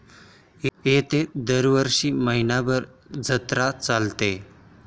येथे दरवर्षी महिनाभर जत्रा चालते.